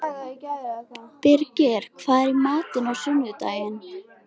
Birgir, hvað er í matinn á sunnudaginn?